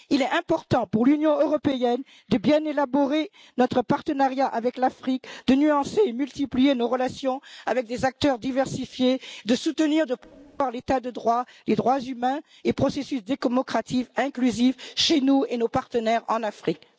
Il est important pour l'Union européenne de bien élaborer notre partenariat avec l'Afrique, de nuancer et multiplier nos relations avec des acteurs diversifiés, de soutenir l'état de droit, les droits humains et le processus dit démocratique, inclusif, chez nous et chez nos partenaires en Afrique.